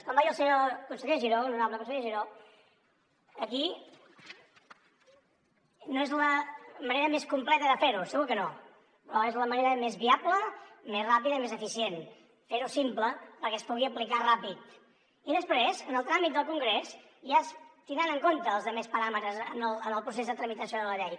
com va dir el senyor conseller giró l’honorable conseller giró aquí no és la manera més completa de fer ho segur que no però és la manera més viable més ràpida i més eficient fer ho simple perquè es pugui aplicar ràpid i després en el tràmit del congrés ja es tindran en compte la resta de paràmetres en el procés de tramitació de la llei